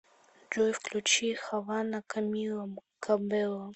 джой включи хавана камила кабело